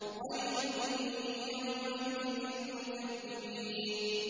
وَيْلٌ يَوْمَئِذٍ لِّلْمُكَذِّبِينَ